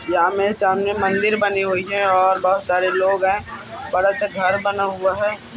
जों आमने सामने मंदिर बने हुई है और बहुत सारे लोग हैं। बड़ा सा घर बना हुआ है।